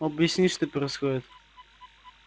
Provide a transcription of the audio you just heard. объясни что происходит